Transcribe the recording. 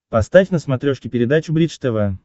поставь на смотрешке передачу бридж тв